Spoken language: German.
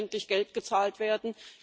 Jetzt muss endlich Geld gezahlt werden.